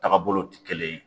Tagabolow ti kelen ye